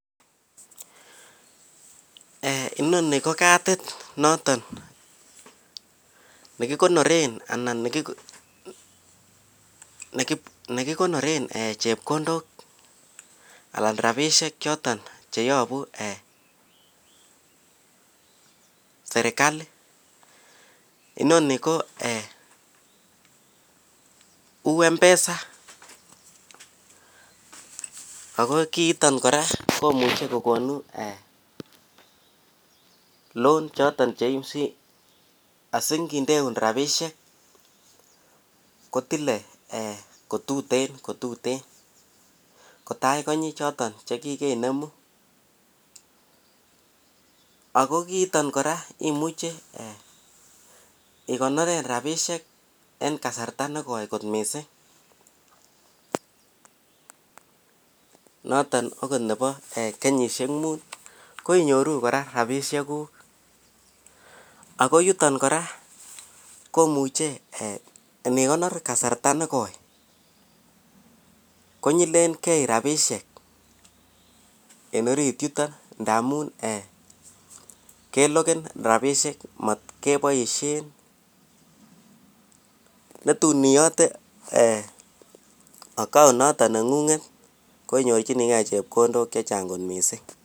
eeh inoni ko kadit noton nekigonoreen anan negikonoreen um eeh chepkondook anna rabishek choton cheobu eeh serkali, inoni ko eeh uu mpesa, ago kiiton kora komuche kogonu loan choton cheuu, asingindeu rabishek kotile kotuten kotuten kotagonyi choton chegigenemu ago kiiton kora imuche igonoren rabishek en kasarta negooi mising, noton agot nebo kenyishek muuut koinyoruu koraa rabishek guuk, ago yuton kora komuche nigonor kasarta negoi konyilen gei rabishek en oriit yuton ndamuun keloken rabishek mat keboishen netun iyote account noton nengunget koinyorchinige chepkondook chechang kot mising.